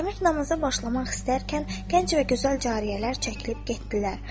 Əmir namaza başlamaq istərkən gənc və gözəl cariyələr çəkilib getdilər.